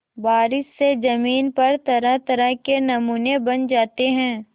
बारिश से ज़मीन पर तरहतरह के नमूने बन जाते हैं